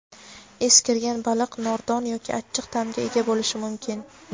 eskirgan baliq nordon yoki achchiq ta’mga ega bo‘lishi mumkin.